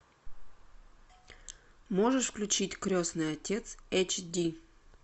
можешь включить крестный отец эйч ди